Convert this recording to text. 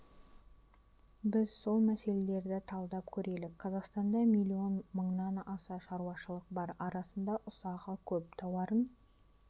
біз сол мәселелерді талдап көрелік қазақстанда миллион мыңнан аса шаруашылық бар арасында ұсағы көп тауарын